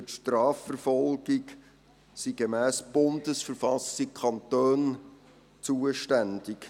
Für die Strafverfolgung sind gemäss Bundesverfassung der Schweizerischen Eidgenossenschaft (BV) die Kantone zuständig.